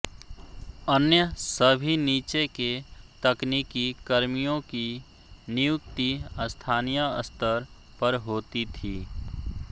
अन्य सभी नीचे के तकनीकी कर्मियो की नियुक्ति स्थानीय स्तर पर होती थी